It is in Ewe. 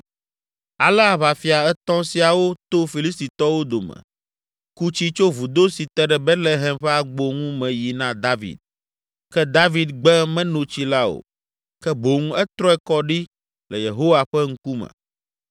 Ale aʋafia etɔ̃ siawo to Filistitɔwo dome, ku tsi tso vudo si te ɖe Betlehem ƒe agbo ŋu me yi na David. Ke David gbe meno tsi la o, ke boŋ etrɔe kɔ ɖi le Yehowa ƒe ŋkume,